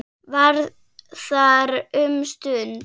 Var þar um stund.